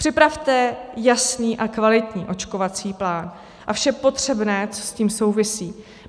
Připravte jasný a kvalitní očkovací plán a vše potřebné, co s tím souvisí.